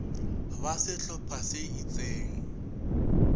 ba sehlo pha se itseng